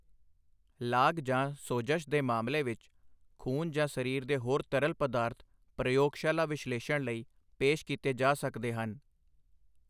ਲਾਗ ਜਾਂ ਸੋਜਸ਼ ਦੇ ਮਾਮਲੇ ਵਿੱਚ, ਖੂਨ ਜਾਂ ਸਰੀਰ ਦੇ ਹੋਰ ਤਰਲ ਪਦਾਰਥ ਪ੍ਰਯੋਗਸ਼ਾਲਾ ਵਿਸ਼ਲੇਸ਼ਣ ਲਈ ਪੇਸ਼ ਕੀਤੇ ਜਾ ਸਕਦੇ ਹਨ।